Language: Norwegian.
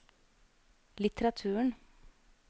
litteraturen